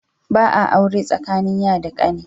Ba a aure tsakanin ya da kani.